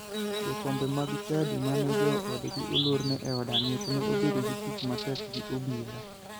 Jokombe mag chadi mane joggi olorne e od ang'ech ne obedo gi tich matek gi obila.